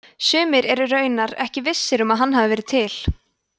sumir eru raunar ekki vissir um að hann hafi verið til